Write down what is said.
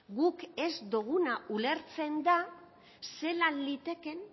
guk ez doguna ulertzen da zelan